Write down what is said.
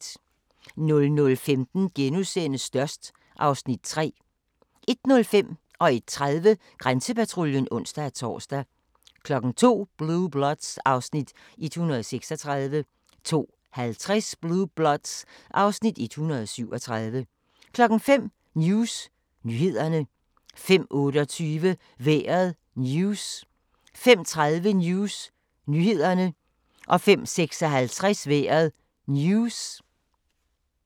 00:15: Størst (Afs. 3)* 01:05: Grænsepatruljen (ons-tor) 01:30: Grænsepatruljen (ons-tor) 02:00: Blue Bloods (Afs. 136) 02:50: Blue Bloods (Afs. 137) 05:00: News nyhederne 05:28: Vejret News 05:30: News nyhederne 05:56: Vejret News